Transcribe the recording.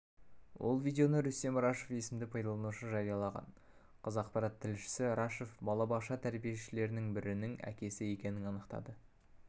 ол видеоны рүстем рашев есімді пайдаланушы жариялаған қазақпарат тілшісі рашев балабақша тәрбиеленушілерінің бірінің әкесі екенін анықтады